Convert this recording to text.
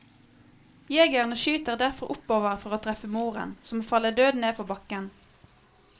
Jegerne skyter derfor oppover for å treffe moren, som faller død ned på bakken.